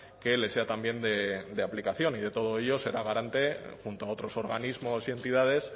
que le sea también de aplicación y de todo ello será garante junto a otros organismos y entidades